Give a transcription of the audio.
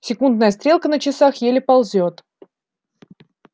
секундная стрелка на часах еле ползёт